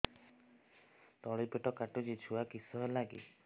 ତଳିପେଟ କାଟୁଚି ଛୁଆ କିଶ ହେଲା କି